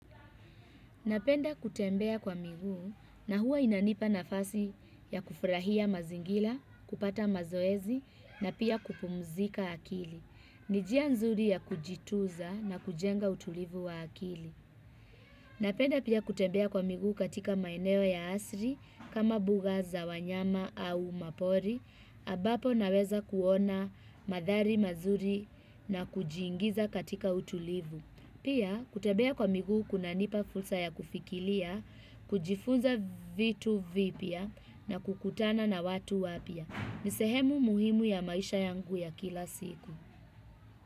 Napenda kutembea kwa miguu na huwa inanipa nafasi ya kufurahia mazingira, kupata mazoezi na pia kupumzika akili. Nijia nzuri ya kujituza na kujenga utulivu wa akili. Napenda pia kutembea kwa miguu katika maeneo ya asri, kama mbuga za wanyama au mapori, ambapo naweza kuona manthari mazuri na kujiingiza katika utulivu. Pia kutembea kwa miguu kunanipa fursa ya kufikiria, kujifunza vitu vipya na kukutana na watu wapya. Ni sehemu muhimu ya maisha yangu ya kila siku.